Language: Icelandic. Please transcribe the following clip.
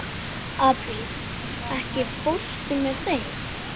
Apríl, ekki fórstu með þeim?